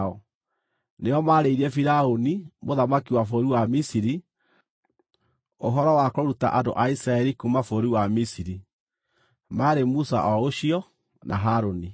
Nĩo maarĩirie Firaũni, mũthamaki wa bũrũri wa Misiri, ũhoro wa kũruta andũ a Isiraeli kuuma bũrũri wa Misiri. Maarĩ Musa o ũcio na Harũni.